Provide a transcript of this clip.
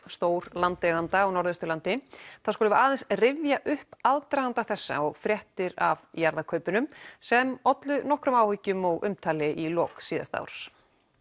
stór landeiganda á Norðausturlandi þá skulum við rifja upp aðdraganda þessa og fréttir af jarðakaupunum sem ollu nokkrum áhyggjum og umtali í lok síðasta árs